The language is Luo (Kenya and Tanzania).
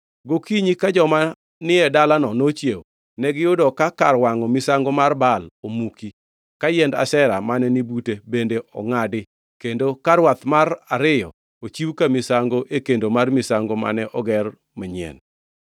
Gokinyi ka joma ni e dalano nochiewo, negiyudo ka kar wangʼo misango mar Baal omuki, ka yiend Ashera mane ni bute bende ongʼadi kendo ka rwath mar ariyo ochiw ka misango e kendo mar misango mane oger manyien!